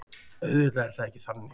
Auðvitað er það ekki þannig.